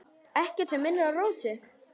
Ekkert sem minnir á Rósu.